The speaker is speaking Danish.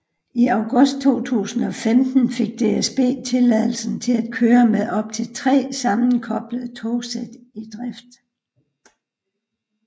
I august 2015 fik DSB tilladelse til at køre med op til 3 sammenkoblede togsæt i drift